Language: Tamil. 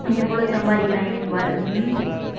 எவ்வளவு சம்பாதிக்கிறாங்கன்னு பாரு